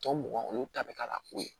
Tɔ mugan olu ta bɛ k'a la ko ye